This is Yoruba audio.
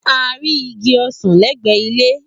A rí igi ọsàn lẹ́gbẹ̀ẹ́ ilé